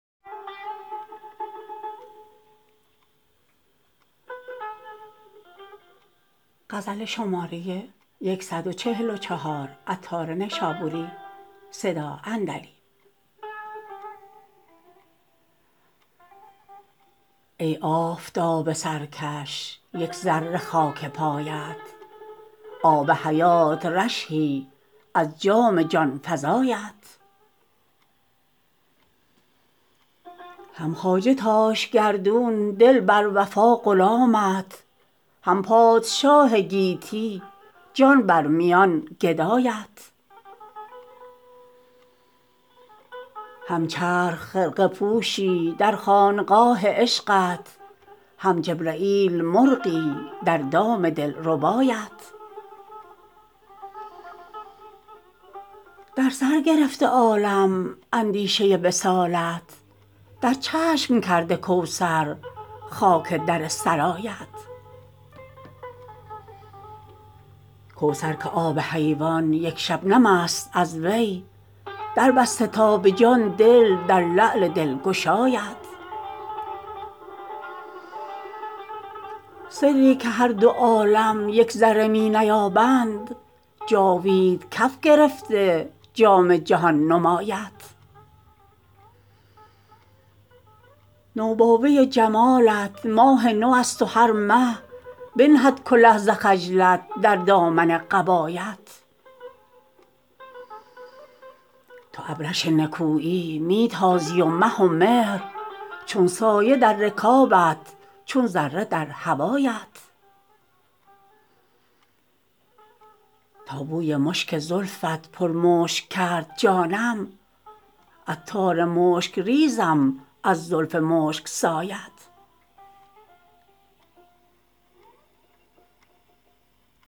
ای آفتاب سرکش یک ذره خاک پایت آب حیات رشحی از جام جانفزایت هم خواجه تاش گردون دل بر وفا غلامت هم پادشاه گیتی جان بر میان گدایت هم چرخ خرقه پوشی در خانقاه عشقت هم جبرییل مرغی در دام دل ربایت در سر گرفته عالم اندیشه وصالت در چشم کرده کوثر خاک در سرایت کوثر که آب حیوان یک شبنم است از وی دربسته تا به جان دل در لعل دلگشایت سری که هر دو عالم یک ذره می نیابند جاوید کف گرفته جام جهان نمایت نوباوه جمالت ماه نو است و هر مه بنهد کله ز خجلت در دامن قبایت تو ابرش نکویی می تازی و مه و مهر چون سایه در رکابت چون ذره در هوایت تا بوی مشک زلفت پر مشک کرد جانم عطار مشک ریزم از زلف مشک سایت